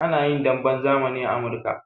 A na yin damben zamani a Amurika.